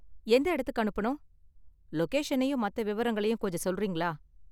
எந்த இடத்துக்கு அனுப்பனும்? லொகேஷனையும் மத்த விவரங்களையும் கொஞ்சம் சொல்றீங்களா?